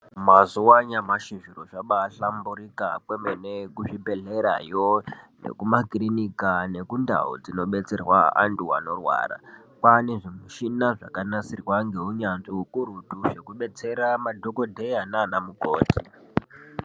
Mazuva anyamashi zviro zvabahlamburika kwemene kuzvibhedhlerayo nekumakirinika nekundau dzinobetserwa antu anorwara. Kwane zvimishana zvakanasirwa ngeunyanzvi hukurutu zvebetsera madhogodheya mama mukoti.